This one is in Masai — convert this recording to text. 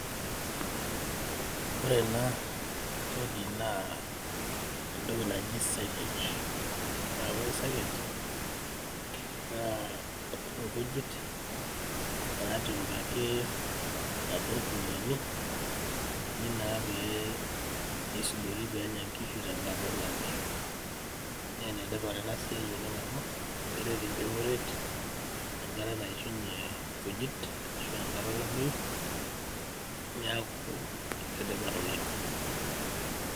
ore ena toki naa entoki naji silage naa ore silage naa nkujit natipikaki atua irkuniani eji naa pee eisudori peenya nkishu tenkata olameyu naa enetipat enasiai oleng amu keret nchoret enkata naishunye nkujit ashu enkata olameyu niaku enetipat oleng.